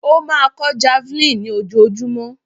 Ó máa kọ́ javelin ní ojoojúmọ́.